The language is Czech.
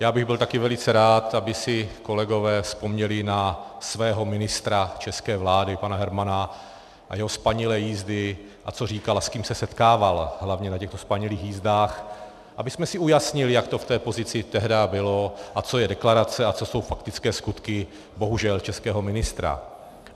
Já bych byl taky velice rád, aby si kolegové vzpomněli na svého ministra české vlády pana Hermana a jeho spanilé jízdy, a co říkal a s kým se setkával hlavně na těchto spanilých jízdách, abychom si ujasnili, jak to v té pozici tehdy bylo a co je deklarace a co jsou faktické skutky bohužel českého ministra.